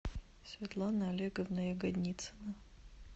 светлана олеговна ягодницына